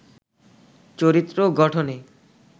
চরিত্র গঠনে